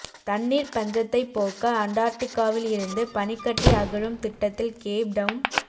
தண்ணீர்ப் பஞ்சத்தைப் போக்க அண்டார்டிக்காவில் இருந்து பனிக்கட்டி அகழும் திட்டத்தில் கேப்டவுன்